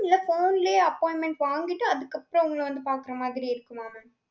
இல்ல phone லயே appointment வாங்கிட்டு அதுக்கு அப்புறம் உங்கள வந்து பாக்கற மாதிரி இருக்குமா mam